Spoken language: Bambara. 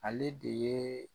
Ale de ye